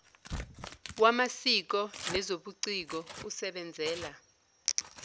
wamasiko nezobuciko usebenzela